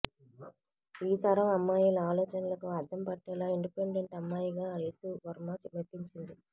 ఈ తరం అమ్మాయిల ఆలోచనలకు అద్దం పట్టేలా ఇండిపెండెంట్ అమ్మాయిగా రీతూ వర్మ మెప్పించింది